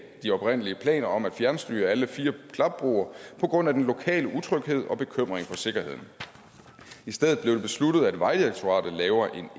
de oprindelige planer om at fjernstyre alle fire klapbroer på grund af den lokale utryghed og bekymring for sikkerheden i stedet blev det besluttet at vejdirektoratet laver en